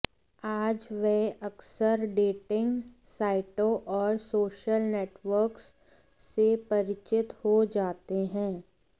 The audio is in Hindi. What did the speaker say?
आज वे अक्सर डेटिंग साइटों और सोशल नेटवर्क्स से परिचित हो जाते हैं